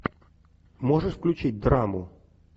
можешь включить драму